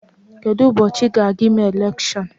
Kedụ ụbọchị a ga-eme elekshion?